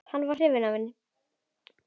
Hann var hrifinn af mér.